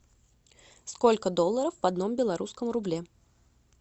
сколько долларов в одном белорусском рубле